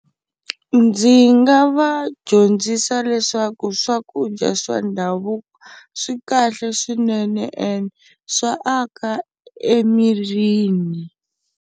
Ndzi nga va dyondzisa leswaku swakudya swa ndhavuko swi kahle swinene ende swa aka emirini.